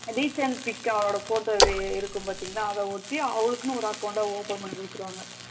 recent pic வோட photo இருக்கும் பாத்திங்காளா அத ஒட்டி அவளுக்குன்னு ஒரு account ட open பண்ணி வைக்கிறாங்க